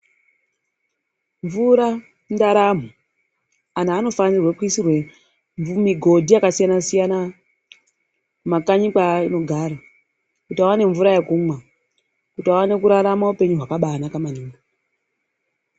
Mvura indaramo, antu anofanire kuisirwe migodhi yakasiyana-siyana, kumakanyi kweanogara kuti aone mvura yekumwa, kuti aone kurarama upenyu hwakabanaka maningi.